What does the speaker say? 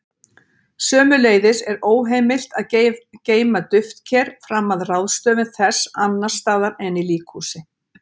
Sömuleiðis er óheimilt að geyma duftker fram að ráðstöfun þess annars staðar en í líkhúsi.